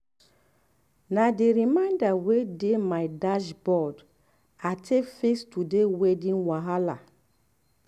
um na the reminder wey dey um my dashboard um i take fix today weeding wahala.